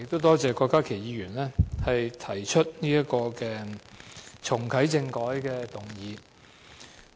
多謝郭家麒議員提出這項有關重啟政改的議案。